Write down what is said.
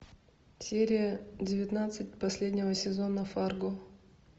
серия девятнадцать последнего сезона фарго